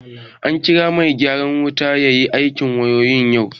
An kira mai gyaran wuta ya yi aikin wayoyi yau